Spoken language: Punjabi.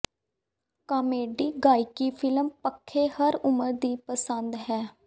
ਕਾਮੇਡੀ ਗਾਇਕੀ ਫਿਲਮ ਪੱਖੇ ਹਰ ਉਮਰ ਦੀ ਪਸੰਦ ਹੈ